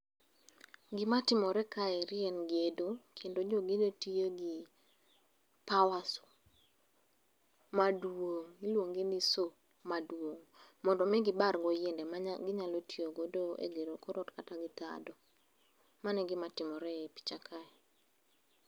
Gima timore kaeri en gedo. Kendo jogedo tiyo gi power saw, maduong'. Iluonge ni saw maduong'. Mondo omi gibar go yiende maginyalo tiyogo e gero kor ot kata wi tado. Mano e gima timore e i picha kae.